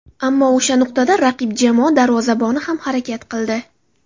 Ammo o‘sha nuqtada raqib jamoa darvozaboni ham harakat qildi.